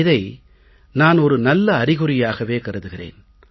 இதை நான் ஒரு நல்ல அறிகுறியாக கருதுகிறேன்